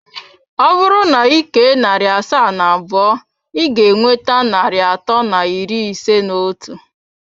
Ọ bụrụ na ị kee narị asaa na abụọ, ị ga-enweta narị atọ na iri ise na otu.